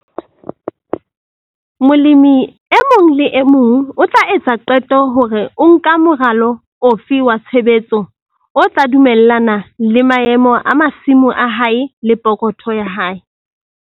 Molemi e mong le e mong o tla etsa qeto hore o nka moralo ofe wa tshebetso o tla dumellana le maemo a masimo a hae le pokotho ya hae.